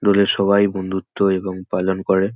দূরের সবাই বন্ধুত্ব এবং পালন করে।